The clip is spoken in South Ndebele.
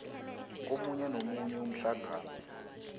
komunye nomunye umhlangano